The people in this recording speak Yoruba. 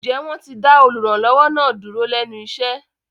Ǹjẹ́ wọ́n ti dá olùrànlọ́wọ́ náà dúró lẹ́nu iṣẹ́?